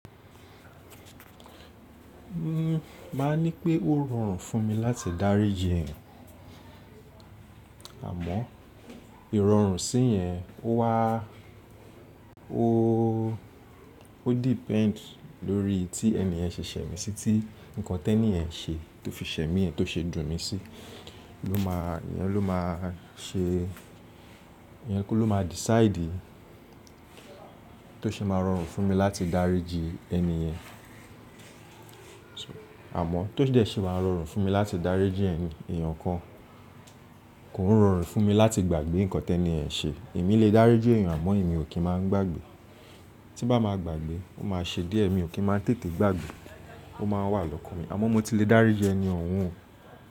N máà ní pé ó rọrùn fún mi láti dáríji eeyan, àmọ́ ìrọrùn sí yẹn ó wa ó, ó depend lórí tí ẹni yẹn ṣẹ̀ṣẹ̀ mí sí tí nǹkan tẹniyẹn ṣe tó fi ṣẹ̀ mí ẹ́ tó ṣe dùn mi sí, ló máa yẹn ló máa ṣe yẹn kọ́ ló máa decide tó ṣe máa rọrùn fún mi láti dáríji ẹni yẹn. Amọ́ tó dẹ́ ṣé máa rọrùn fún mi láti dáríji ẹ̀yin èèyàn kan, kò ń rọrùn fún mi láti gbàgbé nǹkan tẹ́ni yẹ̀n ṣe. Èmi lè dáríji eeyan àmọ́ èmi ò kí máa ń gbàgbé. Tí n bá máa gbàgbé ó máa ṣe díẹ̀, èmi ò kí máa ń tètè gbàgbé ó máa wà lọ́kàn mi. Àmọ́ mo ti lè dáríji ẹni ọ̀ un.